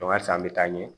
halisa an bɛ taa ɲɛ